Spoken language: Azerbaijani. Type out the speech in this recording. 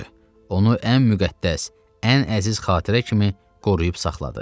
Onu ən müqəddəs, ən əziz xatirə kimi qoruyub saxladı.